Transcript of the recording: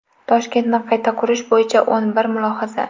Toshkentni qayta qurish bo‘yicha o‘n bir mulohaza.